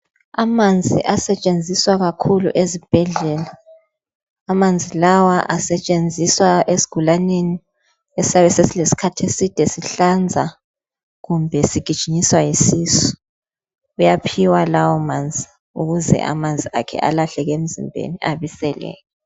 Amanzi asetshenziswa kakhulu ezibhedlela amanzi lawa asetshenziswa esigulaneni esiyabe sesilesikhathi eside sihlanza kumbe sigijinyiswa yisisu bayaphiwa lawo manzi ukuze amanzi akhe alahleke emzimbeni ebiseleke.